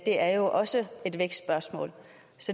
er jo også et vækstspørgsmål